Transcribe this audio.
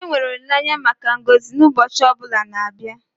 enwere olileanya maka ngọzi n'ụbọchị ọ bụla na-abịa